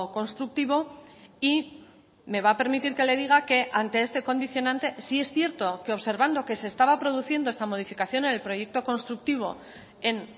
constructivo y me va a permitir que le diga que ante este condicionante sí es cierto que observando que se estaba produciendo esta modificación en el proyecto constructivo en